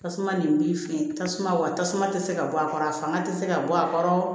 Tasuma nin b'i fɛ tasuma wa tasuma tɛ se ka bɔ a kɔrɔ a fanga tɛ se ka bɔ a kɔrɔ